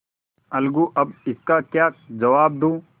अलगूअब इसका क्या जवाब दूँ